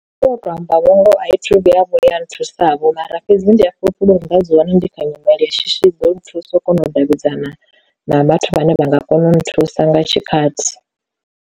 U to amba vho ngoho athi thu vhuya vhuya nthusa vho mara fhedzi ndi a fhulufhela uri u nga dzi wana ndi kha nyimele ya shishi ḓo nthusa u kona u davhidzana na vhathu vhane vha nga kona u nthusa nga tshikhathi.